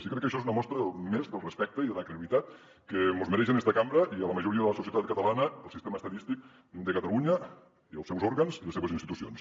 i crec que això és una mostra més del respecte i de la credibilitat que mos mereix en esta cambra i a la majoria de la societat catalana el sistema estadístic de catalunya i els seus òrgans i les seves institucions